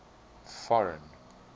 foreign